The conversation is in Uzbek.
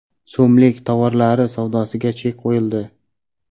so‘mlik tovarlari savdosiga chek qo‘yildi.